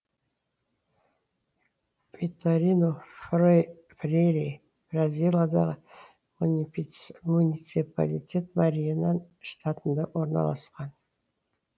виторину фрейри бразилиядағы муниципалитет мариенан штатында орналасқан